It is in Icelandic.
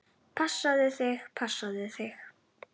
Passaðu þig, passaðu þig!